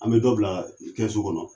An bɛ dɔ bila kɛsu kɔnɔ.